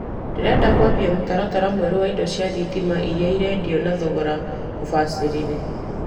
Ndĩrenda kũambia mũtaratara mwerũ wa indo cia thitima iria irendio na thogora mũbacĩrĩre.